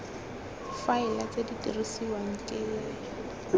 faela tse di dirisiwang ke